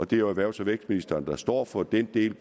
det er jo erhvervs og vækstministeren der står for den del